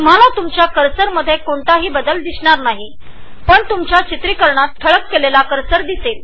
तुम्हाला तुमच्या कर्सरमध्ये कोणताही बदल दिसणार नाही पण रेकॉर्ड व्हिडीओमध्ये ठळक कर्सर दिसेल